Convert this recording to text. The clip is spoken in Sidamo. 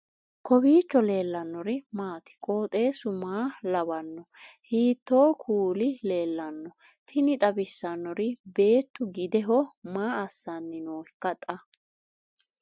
kowiicho leellannori maati ? qooxeessu maa lawaanno ? hiitoo kuuli leellanno ? tini xawissannori beetu gideho maa assanni nooika xa